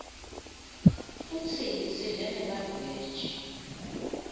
futsi sidle nemaveji